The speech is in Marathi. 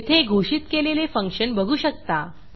येथे घोषित केलेले फंक्शन बघू शकता